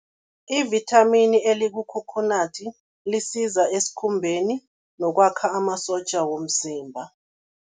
Ivithamini elikukhokhonadi lisiza esikhumbeni nokwakha amasotja womzimba.